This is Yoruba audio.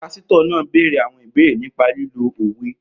Pásítọ̀ náà béèrè àwọn ìbéèrè nípa lílo òwe